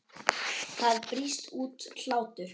Það brýst út hlátur.